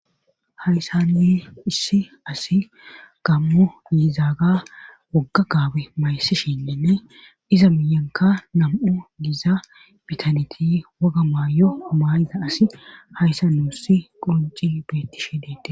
hayssanne issi asi gammo yiizaaga wogga gaabe mayssishinnenne iza miyanka nam7u giza bitaneti woga maayo maayiza asi hayssa nuussi qunci beettishe deette.